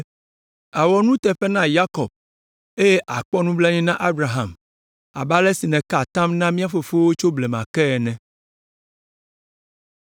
Àwɔ nuteƒe na Yakob, eye àkpɔ nublanui na Abraham abe ale si nèka atam na mía fofowo tso blema ke ene.